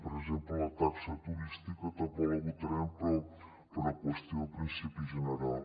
per exemple la taxa turística tampoc la votarem però per una qüestió de principi general